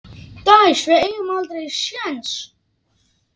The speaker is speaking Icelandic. Dæs, við eigum aldrei séns!